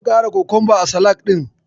Zan ƙara kokonba a salak ɗin.